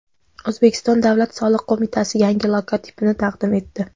O‘zbekiston Davlat soliq qo‘mitasi yangi logotipini taqdim etdi.